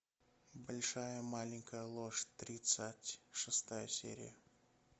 большая маленькая ложь тридцать шестая серия